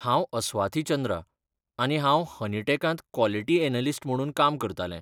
हांव अस्वाथी चंद्रा आनी हांव हनीटेकांत क्वालिटी एनालिस्ट म्हणून काम करतालें.